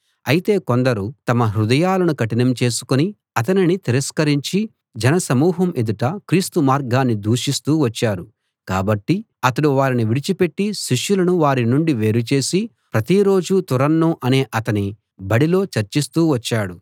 అయితే కొందరు తమ హృదయాలను కఠినం చేసుకుని అతనిని తిరస్కరించి జనసమూహం ఎదుట క్రీస్తు మార్గాన్ని దూషిస్తూ వచ్చారు కాబట్టి అతడు వారిని విడిచిపెట్టి శిష్యులను వారి నుండి వేరు చేసి ప్రతిరోజూ తురన్ను అనే అతని బడిలో చర్చిస్తూ వచ్చాడు